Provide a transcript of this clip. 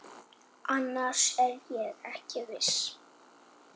Annars er ég ekki viss.